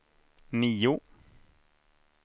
nio